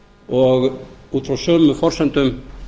og út frá sömu forsendum